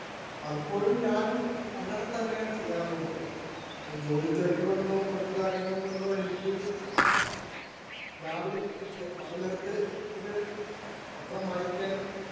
Speaker 1 പലപ്പോഴും ഞാനും അങ്ങനെ തന്നെയാണ് ചെയ്യാറുള്ളത്. ഒരു ജോലിത്തിരക്ക് കൊണ്ടോ, മറ്റുള്ള കാര്യങ്ങള്‍ കൊണ്ടോ എനിക്ക് രാവിലെ, പകല്‍നേരത്ത് ഇത് പത്രം വായിക്കാന്‍